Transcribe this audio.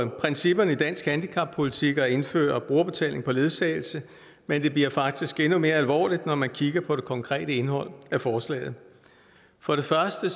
principperne i dansk handicappolitik at indføre brugerbetaling for ledsagelse men det bliver faktisk endnu mere alvorligt når man kigger på det konkrete indhold af forslaget for det første